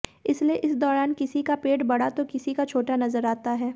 इसलिए इस दौरान किसी का पेट बड़ा तो किसी का छोटा नजर आता है